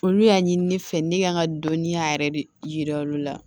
Olu y'a ɲini ne fɛ ne ka kan ka dɔnniya yɛrɛ de yira olu la